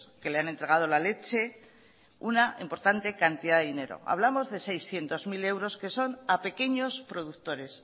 que le han entregado la leche una importante cantidad de dinero hablamos de seiscientos mil euros que son a pequeños productores